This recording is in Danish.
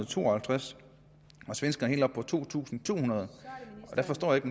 to og halvtreds og svenskerne er helt oppe på to tusind to hundrede jeg forstår ikke